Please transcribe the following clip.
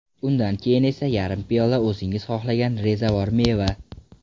Undan keyin esa yarim piyola o‘zingiz xohlagan rezavor meva.